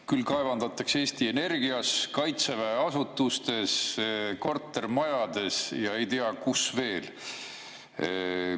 Küll kaevandatakse Eesti Energias, Kaitseväe asutustes, kortermajades ja ei tea, kus veel.